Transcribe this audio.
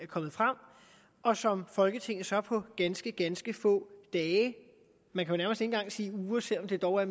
kommet frem og som folketinget så på ganske ganske få dage man kan nærmest ikke engang sige uger selv om der dog er